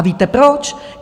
A víte proč?